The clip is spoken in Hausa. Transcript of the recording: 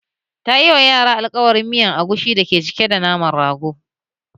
Tayi alkawarin yi wa yaran miyar agushi da ke cike da naman rago